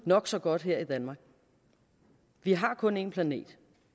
nok så godt her i danmark vi har kun én planet